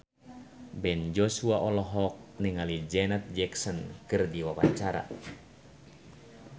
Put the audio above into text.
Ben Joshua olohok ningali Janet Jackson keur diwawancara